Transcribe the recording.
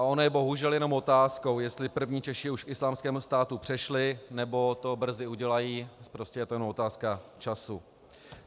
A ono je bohužel jenom otázkou, jestli první Češi už k Islámskému státu přešli, nebo to brzy udělají, prostě je to jenom otázka času.